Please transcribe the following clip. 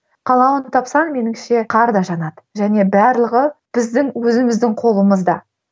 қалуын тапсаң меніңше қар да жанады және барлығы біздің өзіміздің қолымызда